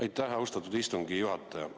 Aitäh, austatud istungi juhataja!